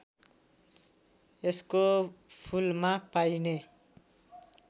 यसको फूलमा पाइने